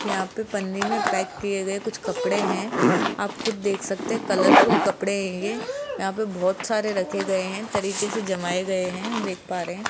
यहां पे पन्नी में पैक किए गए कुछ कपड़े हैं आप खुद देख सकते हैं कलरफुल कपड़े है ये यहां पे बहोत सारे रखे गए हैं तरीके से जमाए गए हैं हम देख पा रहे है।